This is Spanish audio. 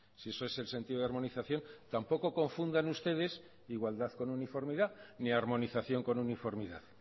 si eso es el sentido de armonización tampoco confundan ustedes igualdad con uniformidad ni armonización con uniformidad